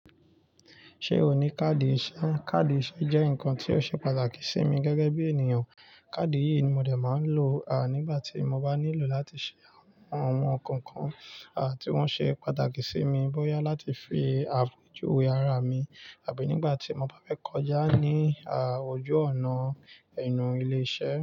Ṣé o ní káàdì iṣẹ́? Káàdì iṣẹ́ jẹ́ nǹkan tí ó ṣe pàtàkì sí mi gẹ́gẹ́ bí ènìyàn. Káàdì yìí ni mo dẹ̀ máa ń lò nígbà tí mo bá nílò láti ṣe àwọn ohun koo kan tí wọ́n ṣe pàtàkì sí mi bóyá láti fi apejuwe ara mi àbí nígbà tí mo bá fẹ́ kọjá ní ojú ọ̀nà enu ilé iṣẹ́.